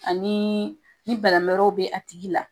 Ani ni banamɛrɛw bɛ a tigi la